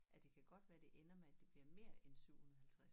At det kan godt være det ender med at det bliver mere end 750